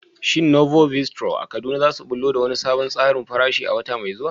Shin Novo Bistro a Kaduna za su ɓullo da wani sabon tsarin farashi a wata mai zuwa?